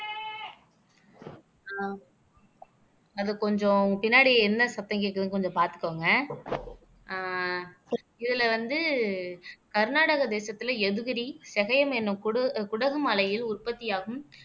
ஆஹ் அது கொஞ்சம் உன் பின்னாடி என்ன சத்தம் கேக்குதுன்னு கொஞ்சம் பாத்துக்கோங்க ஆஹ் இதுல வந்து கர்நாடக தேசத்துல எதிரி செகயம் எண்ணும் குடு குடகு மலையில் உற்பத்தியாகும்